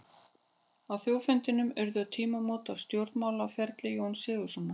Á þjóðfundinum urðu tímamót á stjórnmálaferli Jóns Sigurðssonar.